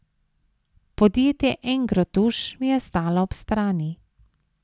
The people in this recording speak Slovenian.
Podjetje Engrotuš mi je stalo ob strani.